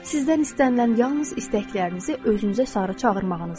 Sizdən istənilən yalnız istəklərinizi özünüzə sarı çağırmağınızdır.